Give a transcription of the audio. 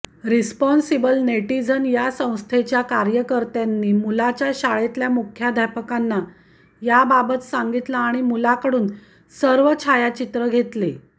responsible netizen या संस्थेच्या कार्यकर्त्यांनी मुलाच्या शाळेतल्या मुख्याध्यापकांना याबाबत सांगितलं आणि मुलाकडून सर्व छायाचित्रं घेतली